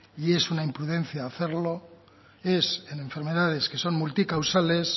y es una imprudencia hacerlo es en enfermedades que son multicausales